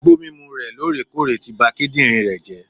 Igbó mímu re lorèkóòrè ti ba kídìnrín rè jé